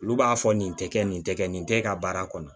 Olu b'a fɔ nin tɛ kɛ nin tɛ kɛ nin tɛ e ka baara kɔnɔ